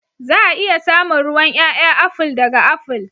Za a iya samun ruwan ƴaƴa aful ɗaga aful.